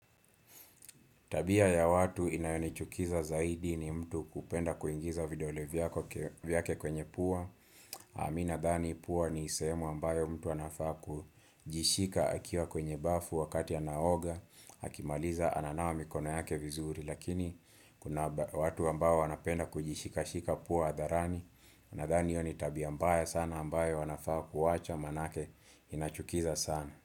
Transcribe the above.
Tabia ya watu inayonichukiza zaidi ni mtu kupenda kuingiza vidole vyake kwenye pua. Mimi nadhani pua ni sehemu ambayo mtu anafaa kujishika akiwa kwenye bafu wakati anaoga. Akimaliza ananawa mikono yake vizuri. Lakini kuna watu ambayo wanapenda kujishikashika pua hadharani. Nadhani hiyo ni tabia mbaya sana ambayo wanafaa kuwacha maanake inachukiza sana.